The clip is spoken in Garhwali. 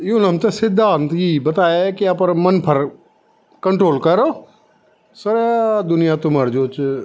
युल हमथे सिद्दा हम थे यी ही बताए की अपर मन पर कंट्रोल करो सरा दुनिया तुमर जो च --